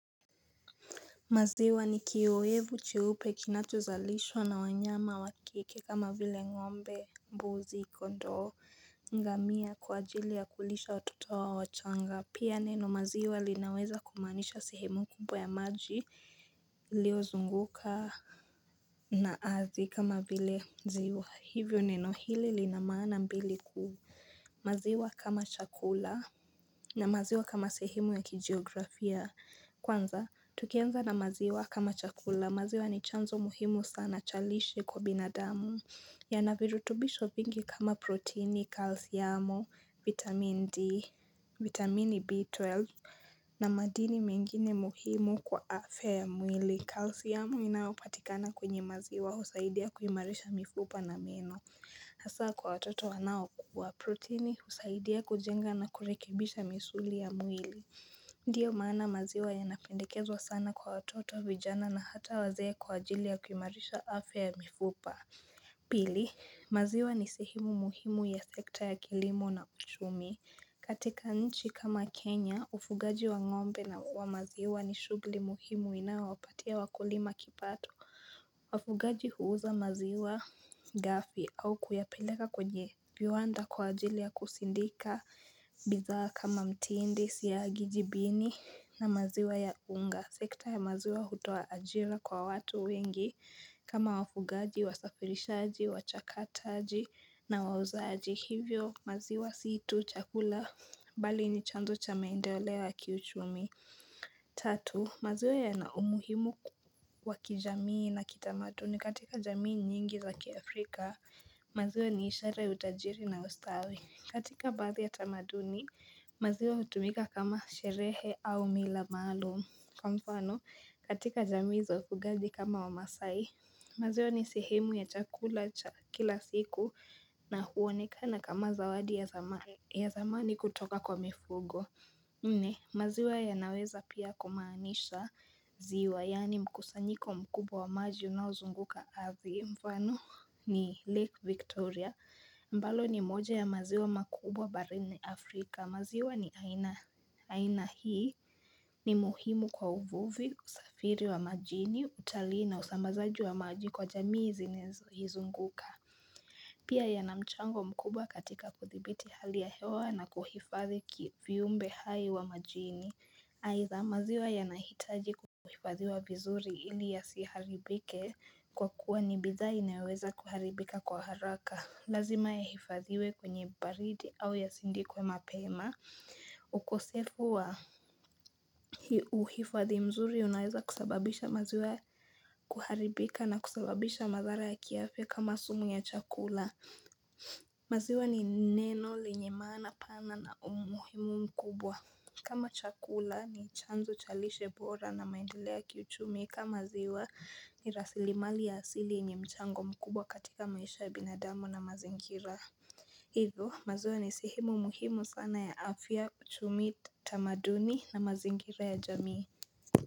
Maziwa ni kiowevu cheupe kinachozalishwa na wanyama wa kike kama vile ngombe, mbuzi, kondoo, ngamia kwa ajili ya kulisha watoto wao wachanga. Pia neno maziwa linaweza kumaanisha sehemu kubwa ya maji iliozunguka na ardhi kama vile ziwa. Hivyo neno hili lina maana mbili kuu. Maziwa kama chakula na maziwa kama sehemu ya kijiografia. Kwanza, tukianza na maziwa kama chakula, maziwa ni chanzo muhimu sana cha lishe kwa binadamu yana virutubisho vingi kama proteini, kalsiamu, vitamin D, vitamin B12 na madini mengine muhimu kwa afya ya mwili calcium inayopatikana kwenye maziwa husaidia kuimarisha mifupa na meno Hasa kwa watoto wanaokua, proteini husaidia kujenga na kurekibisha misuli ya mwili Ndiyo maana maziwa yanapendekezwa sana kwa watoto vijana na hata wazee kwa ajili ya kuimarisha afya ya mifupa. Pili, maziwa ni sehemu muhimu ya sekta ya kilimo na uchumi. Katika nchi kama Kenya, ufugaji wa ng'ombe na huwa maziwa ni shughuli muhimu inao wapatia wakulima kipato. Wafugaji huuza maziwa ghafi au kuyapeleka kwenye viwanda kwa ajili ya kusindika. Bidhaa kama mtindi siagi jibini na maziwa ya unga sekta ya maziwa hutoa ajira kwa watu wengi kama wafugaji, wasafirishaji, wachakataji na wauzaji Hivyo maziwa si tu, chakula, bali ni chanzo cha maendeleo ya kiuchumi Tatu, maziwa yana umuhimu wa kijamii na kitamaduni katika jamii nyingi za kiafrika, maziwa ni ishara ya utajiri na ustawi katika baadhi ya tamaduni, maziwa hutumika kama sherehe au mila maalum. Kwa mfano, katika jamii za ufugaji kama wamaasai, maziwa ni sehemu ya chakula cha kila siku na huonekana kama zawadi ya zamani kutoka kwa mifugo. Nne, maziwa yanaweza pia kumaanisha ziwa, yaani mkusanyiko mkubwa wa maji unaozunguka ardhi. Mfano ni lake Victoria, ambalo ni moja ya maziwa makubwa barini Afrika, maziwa ni aina hii, ni muhimu kwa uvuvi, usafiri wa majini, utalii na usambazaji wa maji kwa jamii zinazo izunguka. Pia yana mchango mkubwa katika kudhibiti hali ya hewa na kuhifadhi viumbe hai wa majini. Aidha maziwa yanahitaji kuhifadhiwa vizuri ili yasiharibike kwa kuwa ni bidhaa inayoweza kuharibika kwa haraka. Lazima yahifadhiwe kwenye baridi au yasindikwe mapema. Ukosefu wa uhifadhi mzuri unaweza kusababisha maziwa kuharibika na kusababisha madhara ya kiafya kama sumu ya chakula. Maziwa ni neno lenye maana pana na umuhimu mkubwa kama chakula ni chanzo cha lishe bora na maendelea ya kiuchumi kama ziwa ni rasilimali ya asili yenye mchango mkubwa katika maisha ya binadamu na mazingira Hivo maziwa ni sehemu muhimu sana ya afya uchumi tamaduni na mazingira ya jamii.